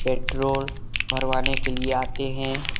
Petrol भरवाने के लिए आते हैं।